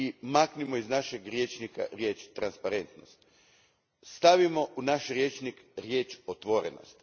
maknimo iz našeg rječnika riječ transparentnost stavimo u naš rječnik riječ otvorenost